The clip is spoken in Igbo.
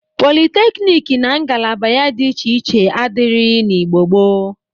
Politeknik na ngalaba ya dị iche iche adịrịghị n'Igbo gboo.